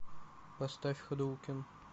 поставь хадоукен